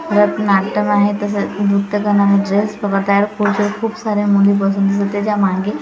भरतनाट्यम आहे तसेच नृत्यकला म्हणजेच परत खूप साऱ्या मुली बसून दिसतात त्याच्या मागे--